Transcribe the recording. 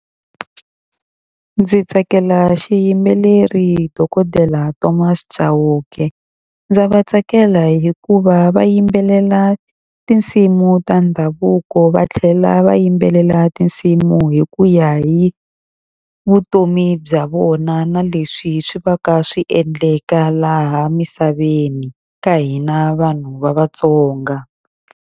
Ndzi tsakela xiyimbeleri dokodela Thomas Chauke. Ndza va tsakela hikuva va yimbelela tinsimu ta ndhavuko va tlhela va yimbelela tinsimu hi ku ya hi vutomi bya vona na leswi swi va ka swi endleka laha misaveni ka hina vanhu va Vatsonga.